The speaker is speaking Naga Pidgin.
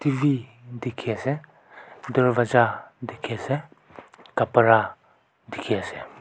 v dekhe ase darvaza dekhe ase kapara dekhe ase.